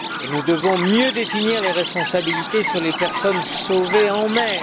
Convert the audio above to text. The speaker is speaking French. Nous devons également mieux définir les responsabilités sur les personnes sauvées en mer.